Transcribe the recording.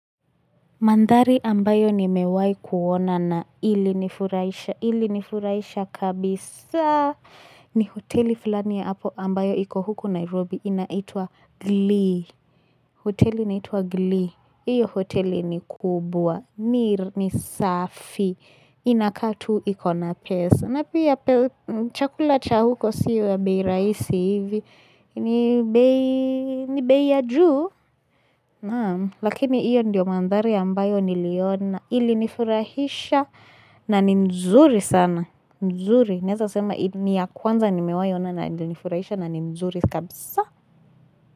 Mandhari ambayo nimewahi kuona na ilinifuraisha. Ilinifuraisha kabisa ni hoteli fulani ya hapo ambayo iko huku Nairobi inaitwa Glee. Hoteli inaitwa Glee. Iyo hoteli ni kubwa. Mir ni safi. Inakaa tu ikona pesa. Napia chakula cha huko siyo ya beiraisi hivi. Ni bei ya juu. Naam lakini iyo ndiyo mandhari ambayo niliona ili nifurahisha na ni nzuri sana nzuri naeza sema ni ya kwanza nimewahiona na nifurahisha na ni nzuri kabisa.